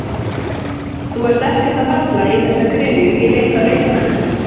Þú ert ekkert að falla í þessa gryfju í leit að leikmönnum?